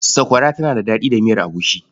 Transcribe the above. Sakwara tana da daɗi da miyar agushi.